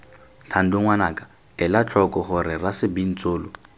thando ngwanaka elatlhoko gore rasebintsolo